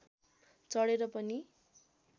चढेर पनि